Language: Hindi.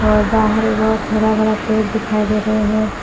और बाहर में बहोत हरा भरा पेड़ दिखाई दे रहे हैं।